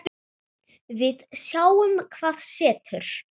Við sjáum hvað setur.